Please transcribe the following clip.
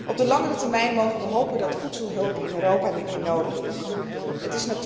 Op de langere termijn mogen we hopen dat voedselhulp in Europa niet meer nodig zal zijn.